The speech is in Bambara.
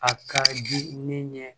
A ka di ne ɲɛ